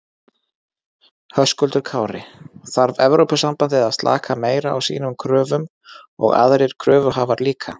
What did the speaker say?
Höskuldur Kári: Þarf Evrópusambandið að slaka meira á sínum kröfum og aðrir kröfuhafar líka?